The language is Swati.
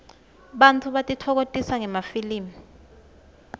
bantfu batitfokokotisa ngemafilmi